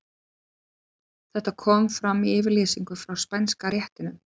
Þetta kom fram í yfirlýsingu frá Spænska réttinum.